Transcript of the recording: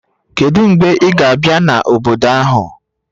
Kedu mgbe ị ga-abịa n'obodo ahụ?